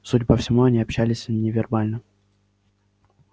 судя по всему они общались невербально